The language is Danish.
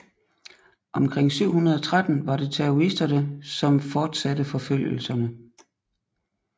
Omkring 713 var det taoisterne som fortsatte forfølgelserne